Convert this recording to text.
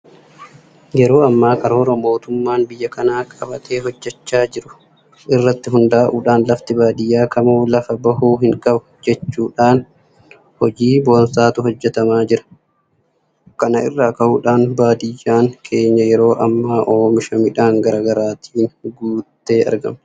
Yeroo ammaa karoora mootummaan biyya kanaa qabatee hojjechaa jiru irratti hundaa'uudhaan lafti baadiyyaa kamuu lafa bahuu hinqabu jedhamuudhaan hojii boonsaatu hojjetamaa jira. Kana irraa ka'uudhaan baadiyyaan keenya yeroo ammaa oomisha midhaan garaa garaatiin guuttee argamti.